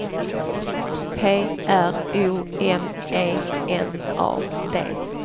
P R O M E N A D